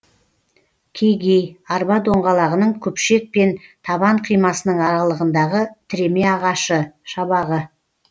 кегей арба доңғалағының күпшек пен табан қимасының аралығындағы тіреме ағашы шабағы